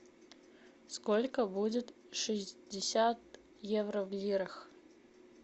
сколько будет шестьдесят евро в лирах